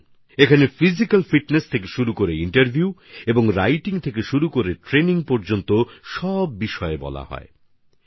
যেখানে physical fitness থেকে শুরু করে ইন্টারভিউ পর্যন্ত আর লেখা পরীক্ষা থেকে শুরু করে প্রশিক্ষণ পর্যন্ত সমস্ত দিক নিয়ে বলা হয়ে থাকে